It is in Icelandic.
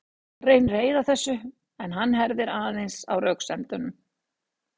Hún reynir að eyða þessu en hann herðir aðeins á röksemdunum.